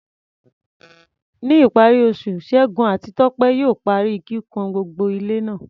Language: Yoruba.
Ní ìparí oṣù, Segun àti Tope yóò parí kíkùn gbogbo ilé náà.